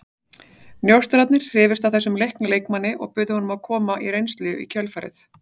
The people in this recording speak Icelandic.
Njósnararnir hrifust af þessum leikna leikmanni og buðu honum að koma á reynslu í kjölfarið.